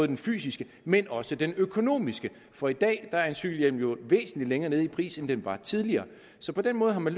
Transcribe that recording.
den fysiske men også den økonomiske for i dag er en cykelhjelm jo væsentlig længere nede i pris end den var tidligere så på den måde har man